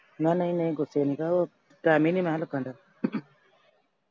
ਮਖਾ ਨਈਂ ਨਈਂ ਗੁੱਸਾ ਨੀ ਗਾ ਉਹ ਟਾਇਮ ਈ ਨਈਂ ਮਖਾ ਲੱਗਣ ਡਿਆ